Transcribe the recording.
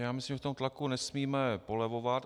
Já myslím, že v tom tlaku nesmíme polevovat.